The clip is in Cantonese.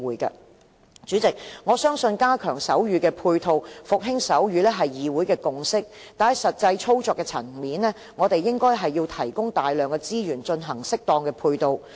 代理主席，我相信加強手語配套，復興手語是議會的共識。但是，在實際操作的層面，我們應該提供大量資源進行適當的配套。